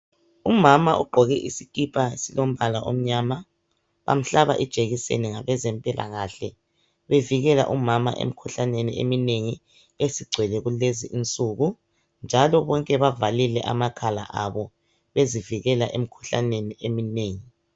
Umama ugqoke isikipa esilombala omnyama. Bamhlaba ijekiseni ngabezempilakahle. Bevikela umama emikhuhlaneni eminengi, esigcwele kulezi insuku, njalo bonke bavalile amakhala abo bezivikela emikhuhkaneni eminengi,